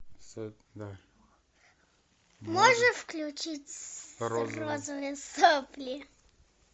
можешь включить розовые сопли